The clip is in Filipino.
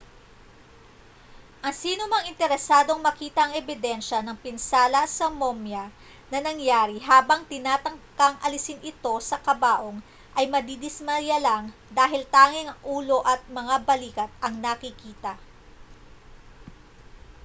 ang sinumang interesadong makita ang ebidensya ng pinsala sa momya na nangyari habang tinatangkang alisin ito sa kabaong ay madidismaya lang dahil tanging ang ulo at mga balikat ang nakikita